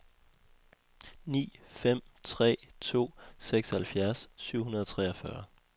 ni fem tre to seksoghalvfjerds syv hundrede og treogfyrre